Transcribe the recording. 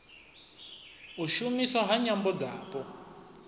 u shumiswa ha nyambo dzapo